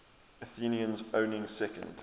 athenians owning second